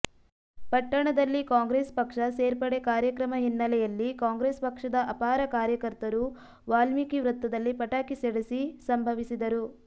ಪಟ್ಟಣದಲ್ಲಿ ಕಾಂಗ್ರೆಸ್ ಪಕ್ಷ ಸೇರ್ಪಡೆ ಕಾರ್ಯಕ್ರಮ ಹಿನ್ನೆಲೆಯಲ್ಲಿ ಕಾಂಗ್ರೆಸ್ ಪಕ್ಷದ ಅಪಾರ ಕಾರ್ಯಕರ್ತರು ವಾಲ್ಮೀಕಿ ವೃತ್ತದಲ್ಲಿ ಪಟಾಕಿ ಸಿಡಸಿ ಸಂಭವಿಸಿದರು